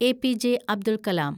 APJ. Abdul കാലം